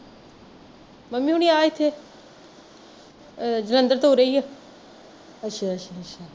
mummy ਹੁਣੀ ਆਹ ਏਥੇ ਆਹ ਜਲੰਧਰ ਤੋਂ ਉਰੇ ਈ ਆ